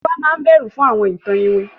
Tiwa mán ni ìbẹrù fún àwọn ìtàn iwin.